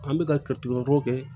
An bɛ katuguw kɛ